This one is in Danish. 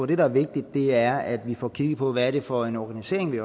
det der er vigtigt er at vi får kigget på hvad det er for en organisering vi